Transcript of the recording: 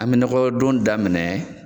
An me nɔgɔdon daminɛ